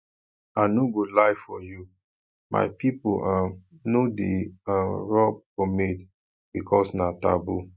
i no go lie for you my people um no um dey rub pomade because na taboo